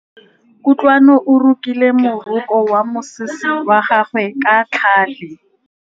Kutlwanô o rokile morokô wa mosese wa gagwe ka tlhale.